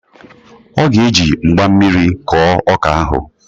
Ọ ga-eji mgba mmiri kọọ ọka ahụ